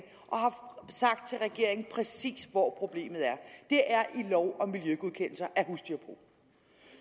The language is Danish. og sagt til regeringen præcis hvor problemet er det er i lov om miljøgodkendelser af husdyrbrug